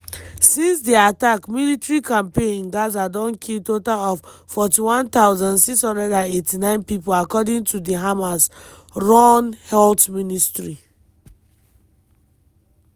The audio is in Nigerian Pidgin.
since di attack military campaign in gaza don kill total of 41689 pipo according to di hamas-run health ministry.